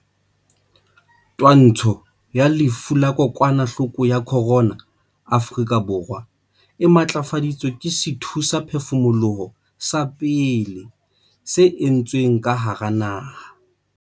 Twantsho ya lefu la kokwanahloko ya corona, Afrika Borwa e matlafaditswe ke sethusaphefumoloho sa pele se entsweng ka hara naha.